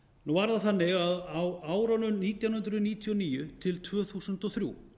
nú var það þannig að á árunum nítján hundruð níutíu og níu til tvö þúsund og þrjú